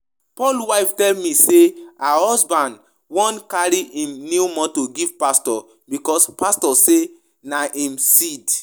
Paul wife tell me say her husband wan carry im new motor give pastor, because pastor say na im seed